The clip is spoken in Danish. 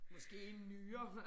Måske en nyre